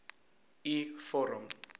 u vorm